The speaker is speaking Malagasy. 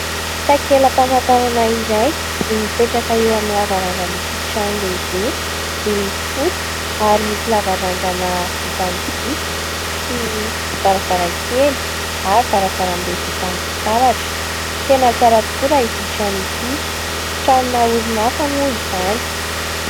Takelam-pamantarana iray no mipetraka eo amin'ny lavarangan'ity trano lehibe, miloko fotsy ary misy lavarangana vita amin'ny biriky sy varavarankely ary varavarambe vita amin'ny fitaratra ; tena tsara tokoa raha ity trano ity. Tranona orinasa moa izany.